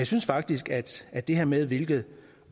synes faktisk at det her med hvilken